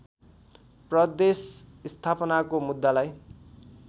प्रदेश स्थापनाको मुद्दालाई